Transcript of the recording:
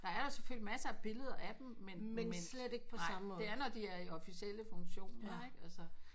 Der er selvfølgelig masser af billeder af dem men men nej det er når de er i officiele funktioner ikke altså